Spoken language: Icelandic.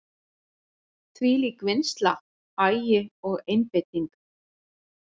Þvílík vinnsla, agi og einbeiting.